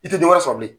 I tɛ dɔ wɛrɛ sɔrɔ bilen